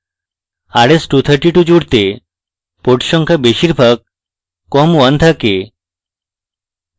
rs232 জুড়তে port সংখ্যা বেশিরভাগ com1 থাকে